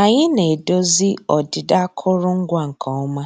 Ànyị́ ná-èdòzí ọ́dị́dà àkụ́rụngwa nkè ọ́má